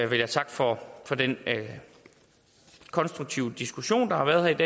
vil jeg takke for den konstruktive diskussion der har været